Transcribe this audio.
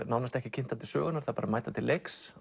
nánast ekki kynntar til sögunnar þær bara mæta til leiks